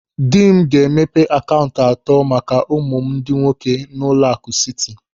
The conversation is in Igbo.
Dị m ga-emepe akaụntụ atọ maka ụmụ m ndị nwoke n'ụlọaku Siti.